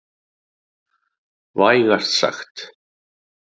Vægast sagt.